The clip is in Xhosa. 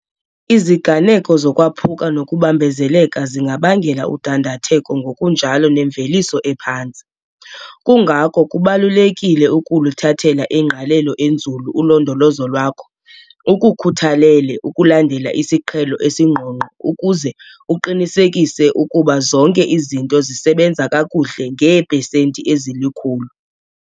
Iziganeko zokwaphuka nokubambezeleka zingabangela udandatheko ngokunjalo nemveliso ephantsi. Kungako kubalulekile ukuluthathela ingqalelo enzulu ulondolozo lwakho ukukhuthalele ukulandela isiqhelo esingqongqo ukuze uqinisekise ukuba zonke izinto zisebenza kakuhle ngeepesenti ezilikhulu.